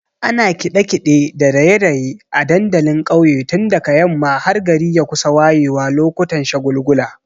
Ana kiɗe-kiɗe da raye-raye a dandalin ƙauye tun daga yamma har gari ya kusa wayewa lokutan shagulgula.